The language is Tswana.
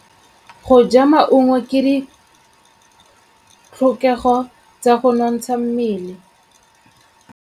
Go ja maungo ke ditlhokegô tsa go nontsha mmele.